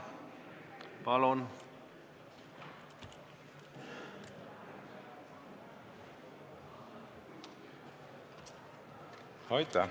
Aitäh!